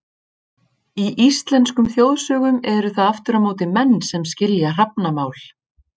Í íslenskum þjóðsögum eru það aftur á móti menn sem skilja hrafnamál.